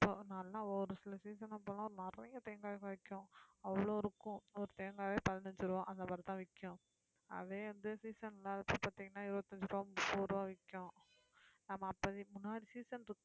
நல்லா ஒரு சில season அப்ப எல்லாம் நிறைய தேங்காய் வைக்கும் அவ்வளவு இருக்கும் ஒரு தேங்காயே பதினைந்து ரூபாய் அந்த மாதிரிதான் விக்கும் அதே அந்த season இல்லாதப்ப பார்த்தீங்கன்னா இருபத்தி அஞ்சு ரூபாய், முப்பது ரூபாய் விக்கும் ஆமாம் அப்ப இதுக்கு முன்னாடி season க்கு